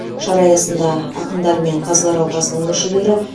шара аясында ақындар мен қазылар алқасының мүшелері